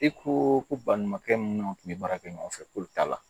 E ko ko balimakɛ minnu tun bɛ baara kɛ ɲɔgɔn fɛ k'olu t'a la